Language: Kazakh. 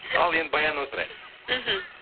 ал енді баяннан сұрайық мхм